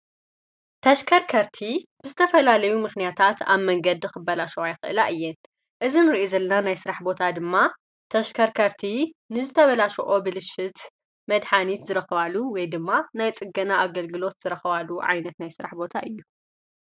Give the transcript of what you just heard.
ተሽከርከርቲ ብዝተፈላለዩ ምኽንያታት ኣብ መንገዲ ኽበላሸዋይኽላ እየን እዝም ርኢ ዘልና ናይ ሥራሕ ቦታ ድማ ተሽከርከርቲ ንዝተበላሸኦ ብልሽት መድኃኒት ዝረኽዋሉ ወይ ድማ ናይ ጽገና ኣገልግሎት ዝረኽዋሉ ዓይነት ናይ ሥራሕ ቦታ እዩ።